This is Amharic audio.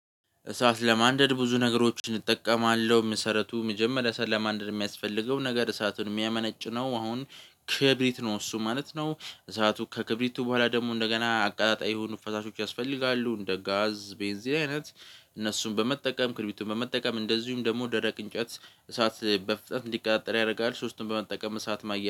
እሳት ለማንደድ ብዙ ነገሮችን እጠቀማለሁ መሰረቱ መጀመሪያ እሳት ለማንደድ የሚያስፈልገው ነገር እሳቱን የሚያመነጭ ነው አሁን ክብሪት ነው እሱ ማለት ነው። እሳቱ ከክብሪቱ በኋላ ደግሞ እንደገና አቀጣጣይ የሆኑ ፈሳሾች ያስፈልጋሉ እንደ ጋዝ ቤንዚን አይነት። እነሱን በመጠቀም ክርቢቱን በመጠቀም እንደዚሁም ደግሞ ደረቅ እንጨት እሳት በፍጥንት እንዲቀጣጠል ያደርጋል። ሶስቱን በመጠቀም እሳት ማየት